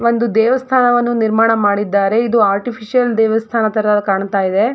ಒಂದು ದೇವಸ್ಥಾನವನ್ನು ನಿರ್ಮಾಣ ಮಾಡಿದ್ದಾರೆ ಇದು ಆರ್ಟಿಫಿಷಿಯಲ್ ದೇವಸ್ಥಾನ ತರ ಕಾಣ್ತ್ ಇದೆ.